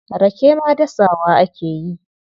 Rake ma dasawa ake yi.